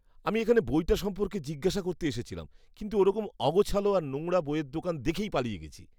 আমি এখানে বইটা সম্পর্কে জিজ্ঞাসা করতে এসেছিলাম কিন্তু ওরকম অগোছালো আর নোংরা বইয়ের দোকান দেখেই পালিয়ে গেছি।